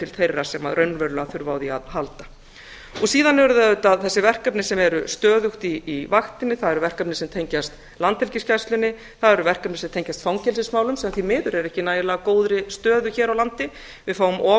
til þeirra sem raunverulega þurfa á því að halda síðan eru þau auðvitað þessi verkefni sem eru stöðugt í vaktinni það eru verkefni sem tengjast landhelgisgæslunni það eru verkefni sem tengjast fangelsismálum sem því miður eru ekki í nægilega góðri stöðu hér á landi við fáum of